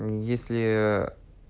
мм если